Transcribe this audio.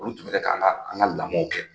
Olu tun bɛ kɛ ka an ka an ka lamɔw kɛ.